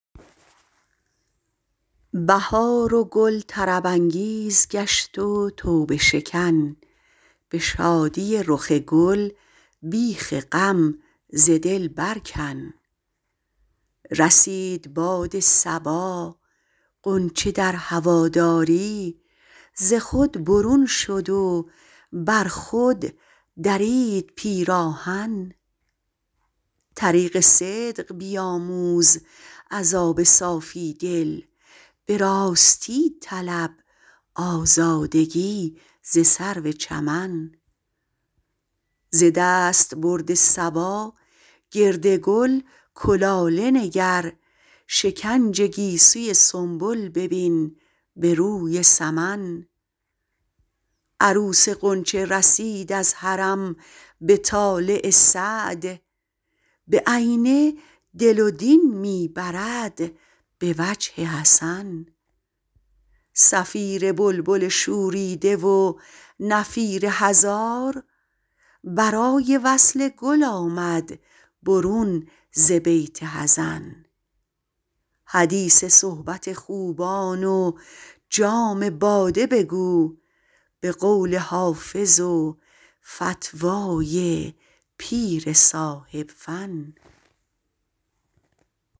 بهار و گل طرب انگیز گشت و توبه شکن به شادی رخ گل بیخ غم ز دل بر کن رسید باد صبا غنچه در هواداری ز خود برون شد و بر خود درید پیراهن طریق صدق بیاموز از آب صافی دل به راستی طلب آزادگی ز سرو چمن ز دستبرد صبا گرد گل کلاله نگر شکنج گیسوی سنبل ببین به روی سمن عروس غنچه رسید از حرم به طالع سعد بعینه دل و دین می برد به وجه حسن صفیر بلبل شوریده و نفیر هزار برای وصل گل آمد برون ز بیت حزن حدیث صحبت خوبان و جام باده بگو به قول حافظ و فتوی پیر صاحب فن